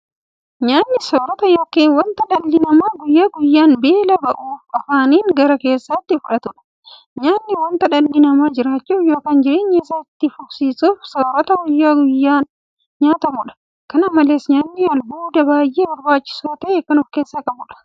Nyaanni soorota yookiin wanta dhalli namaa guyyaa guyyaan beela ba'uuf afaaniin gara keessaatti fudhatudha. Nyaanni wanta dhalli namaa jiraachuuf yookiin jireenya isaa itti fufsiisuuf soorata guyyaa guyyaan nyaatamudha. Kana malees nyaanni albuuda baay'ee barbaachisaa ta'e kan ofkeessaa qabudha.